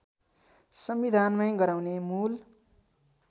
संविधानमै गराउने मूल